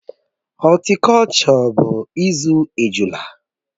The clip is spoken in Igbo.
Họltikolchọ bụ izú ejula